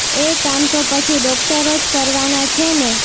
એ કામ તો પછી ડોક્ટરો જ કરવાના છે ને